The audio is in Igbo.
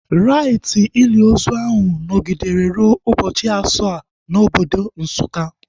Raiti ili ozu ahu nọgidere rue ụbọchị asaa na obodo Nsukka